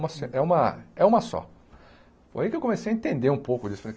Uma se é uma é uma só foi aí que eu comecei a entender um pouco disso.